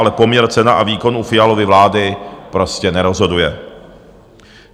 Ale poměr cena a výkon u Fialovy vlády prostě nerozhoduje.